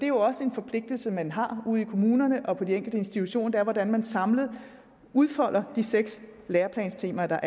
jo også en forpligtelse man har ude i kommunerne og på de enkelte institutioner altså hvordan man samlet udfolder de seks læreplanstemaer